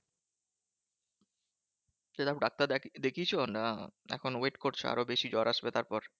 সেরম ডাক্তার দেখি দেখিয়েছো না এখনো wait করছো আরো বেশি জ্বর আসবে তারপর।